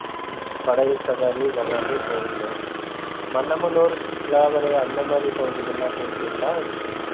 படகு சவாரி இது எல்லாமே போவீங்க மன்னமனூர் பிளாவரை அந்த மாதிரி பகுதிகள் எல்லாம் போயிருக்கீங்களா?